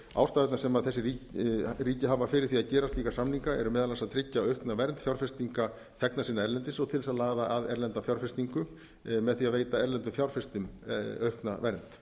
ástæðurnar sem þessi ríki hafa fyrir því að gera slíka samninga eru meðal annars að tryggja aukna vernd fjárfestinga þegna sinna erlendis og til þess að laða að erlenda fjárfestingu með því að veita erlendum fjárfestum aukna vernd